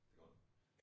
Det godt nok